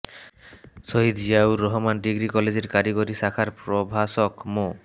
শহীদ Ziaur Rahman degree কলেজের কারিগরি শাখার প্রভাষক মো